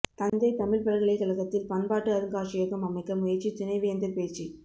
தஞ்சை தமிழ்ப் பல்கலை கழகத்தில் பண்பாட்டு அருங்காட்சியகம் அமைக்க முயற்சி துணைவேந்தர் பேச்சு